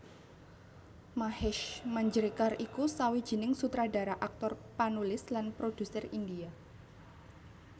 Mahesh Manjrekar iku sawijining sutradara aktor panulis lan produser India